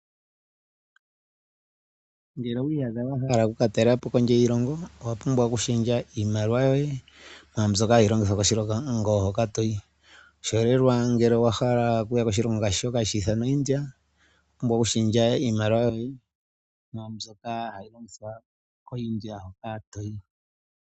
Ngele owii yadha wahala okuka talelapo kondje yiilongo, owa pumbwa oku shendja iimaliwa yoye mwaa mbyoka hayi longithwa koshilongo hoka toyi. Oshiholelwa ngele owahala okuya koshilongo shka hashi ithanwa India nena owa pumbwa oku shendjela iimaliwa yoye mwa mbyoka hayi longithwa ko India hoka toyi.